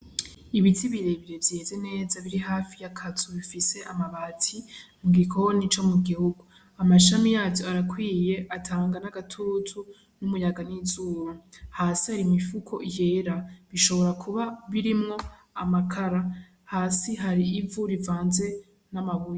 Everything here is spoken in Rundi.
Ibiti birebire vyeze neza, biri hafi y'akazu k'amabati, igikoni co mu gihugu. Amashami yavyo arakwiye, atanga n'agatutu, umuyaga n'izuba. Hasi hari imifuko yera. Ishobora kuba birimwo amakara. Hasi hari ivu rivanze n'amabuye.